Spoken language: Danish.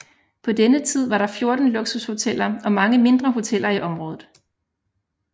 På denne tid var der 14 luksushoteller og mange mindre hoteller i området